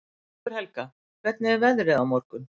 Sigurhelga, hvernig er veðrið á morgun?